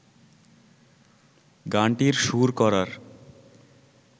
গানটির সুর করার